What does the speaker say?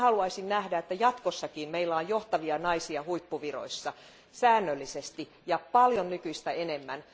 Minä haluaisin nähdä, että meillä on jatkossakin johtavia naisia huippuviroissa säännöllisesti ja paljon nykyistä enemmän.